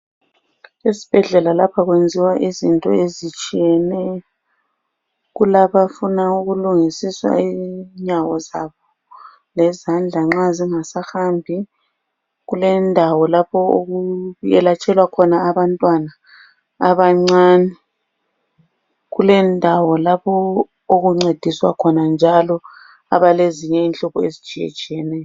Esibhedlela lapha kwenziwa izinto ezitshiyeneyo ,kulabafuna ukulungisiswa inyawo zabo lezandla nxa zingasahambi. Kulendawo lapho okuyelatshelwa khona abantwanaa abancane. Kulendawo lapho okuncediswa khona njalo abalenhlupho ezitshiyetshiyeneyo.